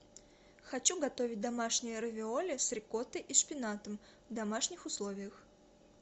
хочу готовить домашние равиоли с рикоттой и шпинатом в домашних условиях